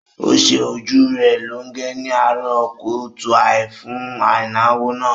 Ó ṣe ojú rẹ̀ lọ́ge ni àárọ̀ kùtùàì fún ìnáwó náà